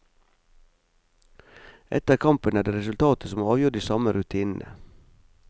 Etter kampen er det resultatet som avgjør de samme rutinene.